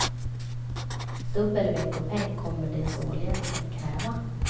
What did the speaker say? Dubbel veckopeng kommer de således att kräva.